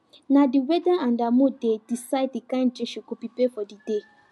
na the weather and her mood dey decide the kind drink she go prepare for the day